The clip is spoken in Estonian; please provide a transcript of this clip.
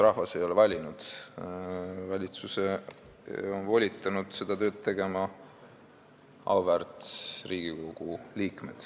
Rahvas ei ole valitsust valinud, auväärt Riigikogu liikmed on volitanud valitsuse seda tööd tegema.